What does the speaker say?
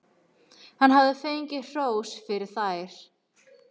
Hann hafði fengið hrós fyrir þær.